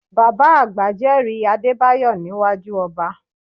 Bàbá àgbà jẹ́rìí Adébáyọ̀ níwájú ọba